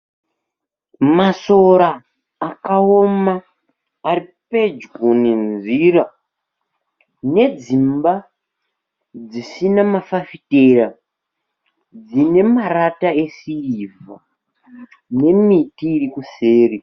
Masora akaoma ari pedyo nenzira, nedzimba dzisina mafafitera, dzine marata esirivha dzine miti iri kuseri.